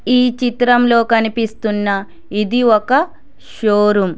ఈ చిత్రంలో కనిపిస్తూ ఉన్న ఇది ఒక షోరూం .